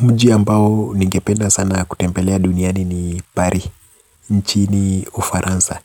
Mji ambao ningependa sana kutembelea duniani ni Paris, nchini u Faransa.